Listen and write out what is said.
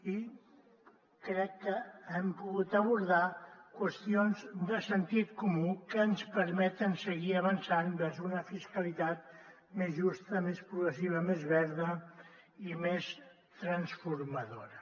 i crec que hem pogut abordar qüestions de sentit comú que ens permeten seguir avançant vers una fiscalitat més justa més progressiva més verda i més transformadora